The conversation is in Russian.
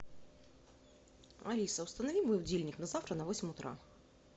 алиса установи будильник на завтра на восемь утра